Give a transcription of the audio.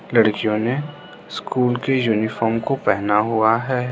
लड़कियों ने स्कूल के यूनिफॉर्म को पहना हुआ है।